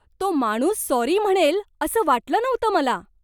तो माणूस सॉरी म्हणेल असं वाटलं नव्हतं मला.